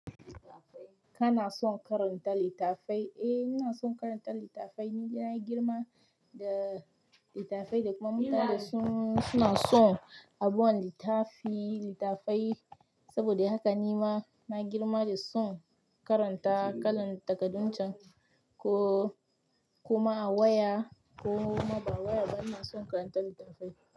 Ka na son karanta litattafai? Eh, ina son karanta litattafai, ni na girma da litattafai da kuma mutane suna son abubuwan litafi, litattafai. Saboda haka ni ma na girma da son karanta kalan takadun can ko kuma a waya ko ma ba waya ba, ina son karanta litattafai.